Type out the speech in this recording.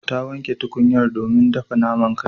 Ta wanke tukunyar domin dafa naman kai.